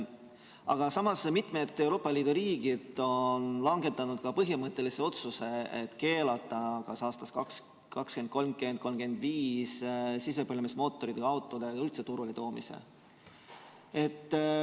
Aga samas on mitmed Euroopa Liidu riigid langetanud põhimõttelise otsuse keelata kas aastaks 2030 või 2035 sisepõlemismootoriga autode turule toomine.